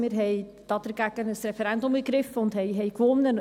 Wir haben dagegen ein Referendum ergriffen und haben gewonnen.